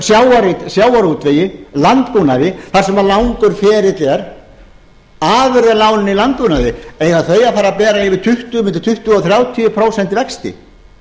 framleiðslugreinunum sjávarútvegi landbúnaði þar sem langur ferill er afurðalánin í landbúnaði eiga þau að fara að bera milli tuttugu og þrjátíu prósent vexti